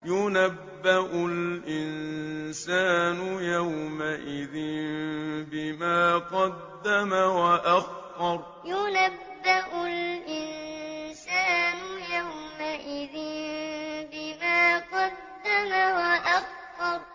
يُنَبَّأُ الْإِنسَانُ يَوْمَئِذٍ بِمَا قَدَّمَ وَأَخَّرَ يُنَبَّأُ الْإِنسَانُ يَوْمَئِذٍ بِمَا قَدَّمَ وَأَخَّرَ